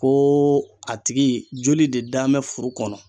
KoO a tigi joli de danbɛ furu kɔnɔ